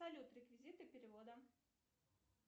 салют реквизиты перевода